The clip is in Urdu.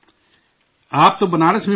آپ تو بنارس میں پڑھے ہیں